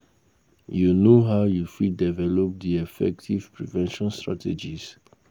You know how you fit develop di effective prevention strategies?